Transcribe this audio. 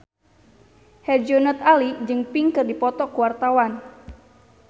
Herjunot Ali jeung Pink keur dipoto ku wartawan